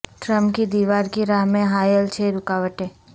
Trump کی دیوار کی راہ میں حائل چھ رکاوٹیں